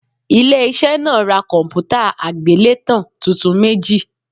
Ilé iṣẹ́ náà ra kọ̀m̀pútà àgbélétan tuntun méjì.